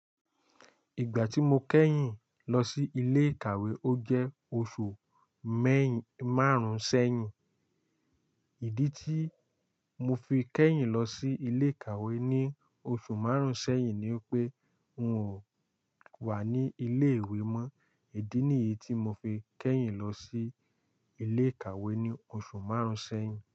Ìgbà tí mo kẹ́yìn lọ sí ilé ìkàwé, ó jẹ́ oṣù mẹ́yìn- márùn-ún sẹ́yìn. Ìdí tí mo fi kẹ́yìn lọ sí ilé ìkàwé ní oṣù márùn-ún sẹ́yìn ni pé n ò wà ní ilé ìwé mọ. Ìdí nìyí tí mo fi kẹ́yìn lọ sí ilé ìkàwé ní oṣù márùn-ún sẹ́yìn.